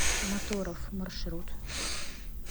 моторов маршрут